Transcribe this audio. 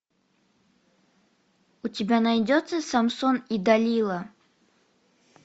у тебя найдется самсон и далила